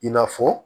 I n'a fɔ